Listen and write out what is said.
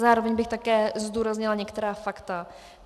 Zároveň bych také zdůraznila některá fakta.